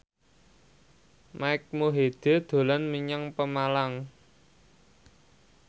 Mike Mohede dolan menyang Pemalang